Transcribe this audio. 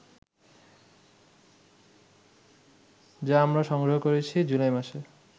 যা আমরা সংগ্রহ করেছি জুলাই মাসে